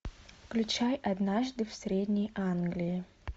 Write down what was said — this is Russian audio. включай однажды в средней англии